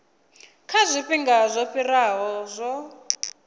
kha zwifhinga zwo fhiraho zwo